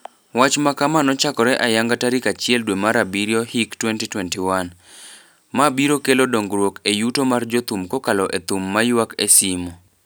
Wach makama nochakore ayanga tarik achiel dwe mar abirio hik 2021. Ma biro kelo dongruok e yuto mar jothum kokalo e thum maywak e simo.